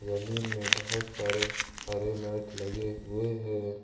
जमीन में बहुत सारे हरे मैट लगे हुए है।